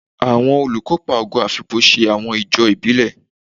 Awọn olukopa Ogo Afikpo ṣe awọn ijó ibile